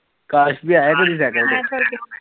ਕਾਸ਼ ਵੀ ਆਇਆ ਕਦੇ ਸਾਇਕਲ ਤੇ